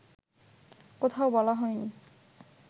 কোথাও বলা হয়নি